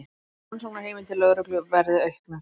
Rannsóknarheimildir lögreglu verði auknar